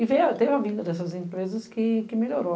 E teve a vinda dessas empresas que melhorou.